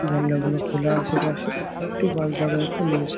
জানলাগুলো খোলা আছে পাশে একটু বাস দেখা যাচ্ছে। মানুষ --